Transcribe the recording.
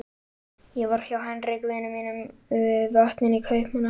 Ég var hjá Henrik vini mínum við Vötnin í Kaupmannahöfn.